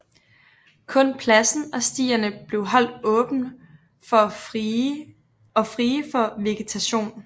Kun pladsen og stierne blev holdt åbne og frie for vegetation